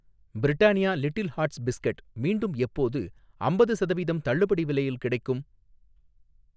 Britannia little hearts biscuit மீண்டும் எப்போது அம்பது சதவீதம் தள்ளுபடி விலையில் கிடைக்கும்?